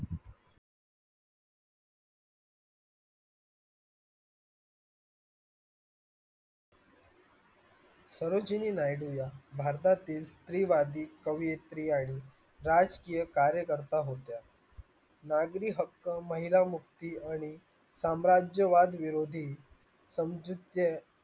या भारतातील स्त्रीवादी कवियत्री आणि राजकीय कार्यकर्ता होत्या नागरी हक्क महिला मुक्ती आणि साम्राज्यवाद विरोधी